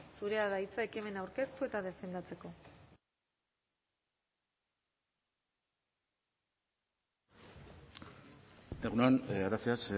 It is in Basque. zurea da hitza ekimena aurkeztu eta defendatzeko egun on gracias